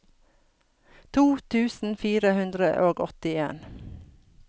to tusen fire hundre og åttien